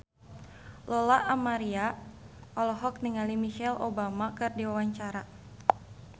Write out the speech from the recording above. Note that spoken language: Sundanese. Lola Amaria olohok ningali Michelle Obama keur diwawancara